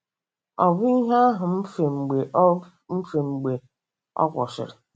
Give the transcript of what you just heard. Ọ bụ ihe ahụ mfe mgbe ọ mfe mgbe ọ kwụsịrị. ”